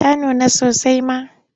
Ta nuna sasai ma.